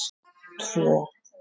tvo